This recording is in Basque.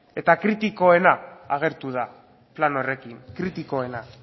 eta kritikoena agertu da plan horrekin kritikoena